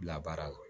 Bila baara la